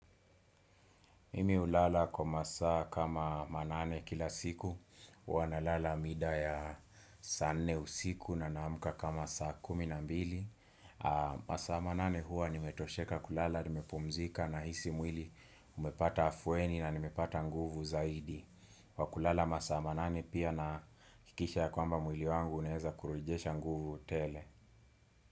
Mimi ulala kwa masaa kama manane kila siku, ua na lala mida ya sa nne usiku na naamuka kama saa kumi na mbili. Masaa manane huwa nimetosheka kulala, nimepumzika nahisi mwili umepata afweni na nimepata nguvu zaidi. Wa kulala masa manane pia naakikisha ya kwamba mwili wangu unaeza kurujesha nguvu tele.